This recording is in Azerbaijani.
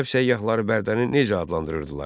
Ərəb səyyahları Bərdəni necə adlandırırdılar?